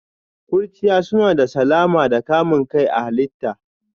Ƙurchiya suna da salama da kamun kai a halitta.